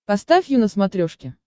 поставь ю на смотрешке